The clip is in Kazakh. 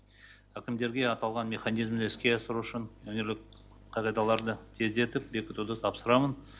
әкімдерге аталған механизмді іске асыру үшін өңірлік қағидаларды тездетіп бекітуді тапсырамын